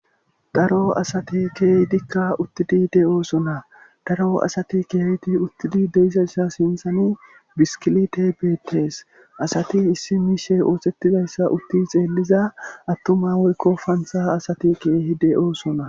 daro asati keehidikka uttidi de'oosona daro asati keehidi uttidi de'izasa sinthani biskilite bettes asati issi miishe oosettizayssa utti xeelliza attuma woykko pansa asati keehi de'oosona